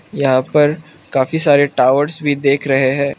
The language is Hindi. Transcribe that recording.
यहां पर काफी सारे टॉवर्स भी देख रहे हैं।